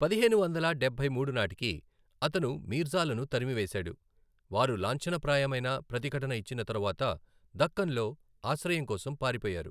పదిహేను వందల డబ్బై మూడు నాటికి, అతను మీర్జాలను తరిమివేసాడు, వారు లాంఛనప్రాయమైన ప్రతిఘటన ఇచ్చిన తరువాత దక్కన్లో ఆశ్రయం కోసం పారిపోయారు.